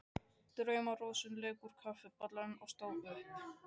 Drauma-Rósa lauk úr kaffibollanum og stóð upp.